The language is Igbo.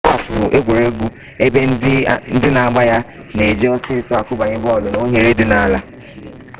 gọlf bụ egwuregwu ebe ndị na-agba ya na-eji osisi akụbanye bọọlụ n'oghere dị n'ala